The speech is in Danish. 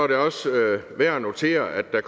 det også værd at notere at der